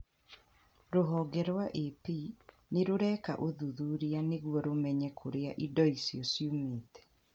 Rũhonge rwa AP nĩrĩreka ũthuthuria nĩguo rũmenye kũrĩa indo icio ciumĩte.